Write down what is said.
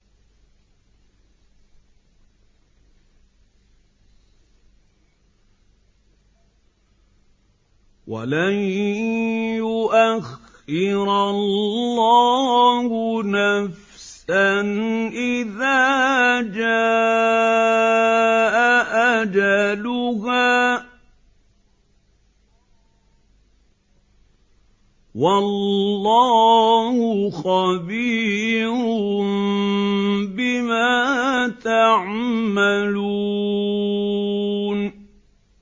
وَلَن يُؤَخِّرَ اللَّهُ نَفْسًا إِذَا جَاءَ أَجَلُهَا ۚ وَاللَّهُ خَبِيرٌ بِمَا تَعْمَلُونَ